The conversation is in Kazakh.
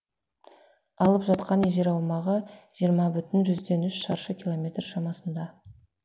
алып жатқан жер аумағы жиырма бүтін жүзден үш шаршы километр шамасында